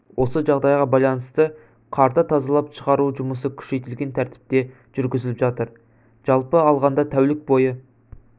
осы жағдайға байланысты қарды тазалап шығару жұмысы күшейтілген тәртіпте жүргізіліп жатыр жалпы алғанда тәулік бойы